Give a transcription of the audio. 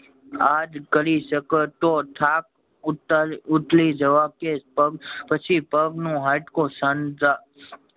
આજ કરી શકતો થાક ઉત ઉતારી જવો જે કે પગ પછી પગ નું હાડકું સાંધા